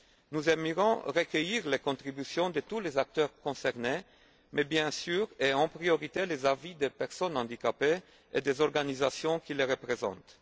Nous aimerions recueillir les contributions de tous les acteurs concernés mais, bien sûr, et en priorité, les avis des personnes handicapées et des organisations qui les représentent.